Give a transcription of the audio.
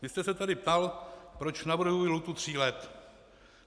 Vy jste se tady ptal, proč navrhuji lhůtu tří let.